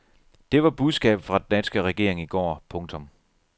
Det var budskabet fra den danske regering i går. punktum